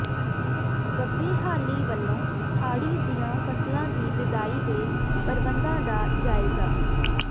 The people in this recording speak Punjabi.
ਬੱਬੇਹਾਲੀ ਵਲੋ ਹਾੜੀ ਦੀਆਂ ਫਸਲਾਂ ਦੀ ਬਿਜਾਈ ਦੇ ਪ੍ਰਬੰਧਾਂ ਦਾ ਜਾਇਜਾ